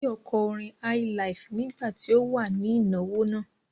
Báyọ̀ kọ orin highlife nígbà tí ó wà ní ìnáwó náà.